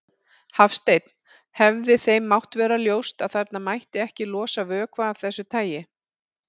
Hafsteinn: Hefði þeim mátt vera ljóst að þarna mætti ekki losa vökva af þessu tagi?